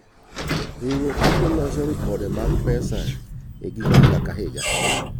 Riwruoge duto loso ripode mag pesa e giko higa ka higa.